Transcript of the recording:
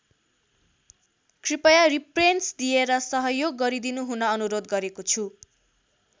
कृपया रिप्रेन्स दिएर सहयोग गरिदिनुहुन अनुरोध गरेको छु।